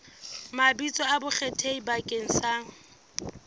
mabitso a bonkgetheng bakeng sa